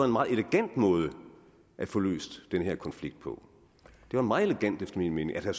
meget elegant måde at få løst den her konflikt på det var meget elegant efter min mening at